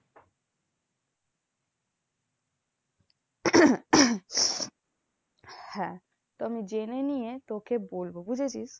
হ্যাঁ তো আমি জেনে নিয়ে তোকে বলবো বুঝেছিস?